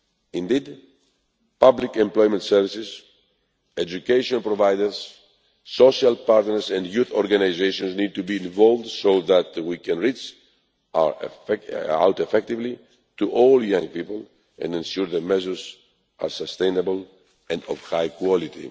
goal. Indeed, public employment services, education providers, social partners and youth organisations need to be involved so that we can reach out effectively to all young people and ensure that measures are sustainable and of high quality.